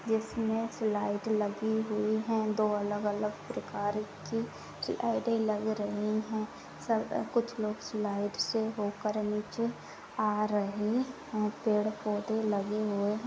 इसमें स्लाइड लगी हुई है। दो अलग-अलग प्रकार की स्लाइडे लग रही हैं सब -- कुछ लोग स्लाइड से होकर नीचे आ रहे हैं। पेड़-पौधे लगे हुए --